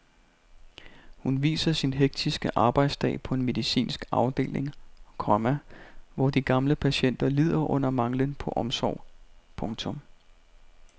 Hun viser sin hektiske arbejdsdag på en medicinsk afdeling, komma hvor de gamle patienter lider under manglen på omsorg. punktum